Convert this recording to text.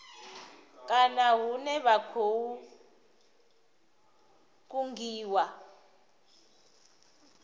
kana hune vha khou kungiwa